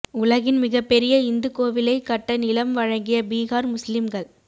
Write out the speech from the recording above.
உலகின் மிகப்பெரிய இந்து கோவிலை கட்ட நிலம் வழங்கிய பீகார் முஸ்லீம்கள்